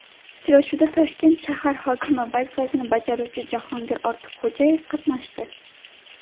Uchrashuvda Toshkent shahar hokimi vazifasini bajaruvchi Jahongir Ortiqxo‘jayev qatnashdi.